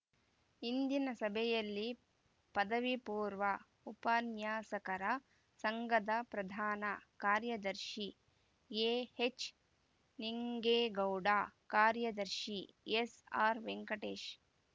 ಇಂದಿನ ಸಭೆಯಲ್ಲಿ ಪದವಿ ಪೂರ್ವ ಉಪನ್ಯಾಸಕರ ಸಂಘದ ಪ್ರಧಾನ ಕಾರ್ಯದರ್ಶಿ ಎಹೆಚ್ ನಿಂಗೇಗೌಡ ಕಾರ್ಯದರ್ಶಿ ಎಸ್ಆರ್ ವೆಂಕಟೇಶ್